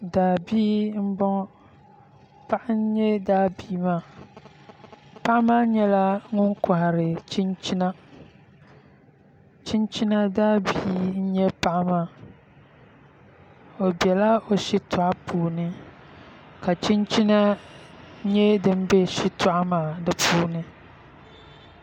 Daabia n boŋo paɣa n nyɛ daa bia maa paɣa maa nyɛla ŋun kohari chinchina chinchina daabia n nyɛ paɣa maa o biɛla o shitoɣu puuni ka chinchina nyɛ din bɛ shitoɣu maa di puuni